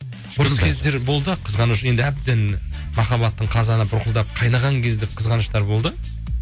ұрыс кездер болды қызғаныш енді әбден махаббаттың қазаны бұрқылдап қайнаған кезде қызғаныштар болды